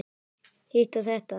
Hitt og þetta.